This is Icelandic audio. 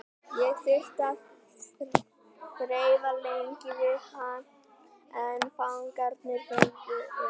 Ég þurfti að þrefa lengi við hann en fangarnir fengu inni.